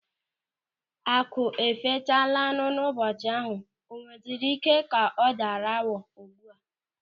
Akụ e fechalanu n'ụbọchị ahụ, o nweziri ike ka ọ daara awọ ugbu a?